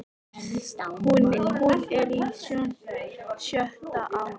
Hún er á sjöunda ári